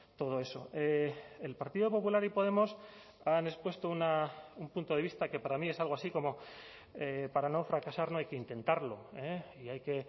todo eso el partido popular y podemos han expuesto un punto de vista que para mí es algo así como para no fracasar no hay que intentarlo y hay que